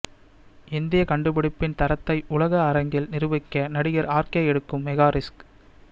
இந்திய கண்டுபிடிப்பின் தரத்தை உலக அரங்கில் நிரூபிக்க நடிகர் ஆர்கே எடுக்கும் மெகா ரிஸ்க்